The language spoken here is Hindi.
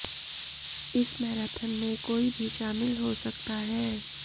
इस मैराथन में कोई भी शामिल हो सकता है